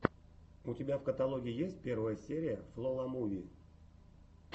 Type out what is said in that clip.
у тебя в каталоге есть первая серия фло ла муви